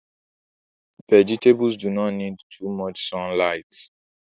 Vegetables do not need too much sunligt